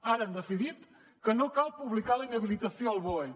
ara han decidit que no cal publicar la inhabilitació al boe